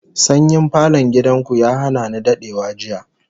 Sanyin falon gidan ku ya hana ni dadewa jiya